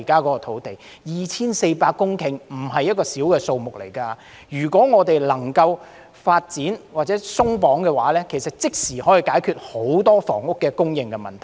面積達 2,400 公頃並非小數目，如果我們能夠發展或鬆綁這些土地，便可立即解決很多房屋供應問題。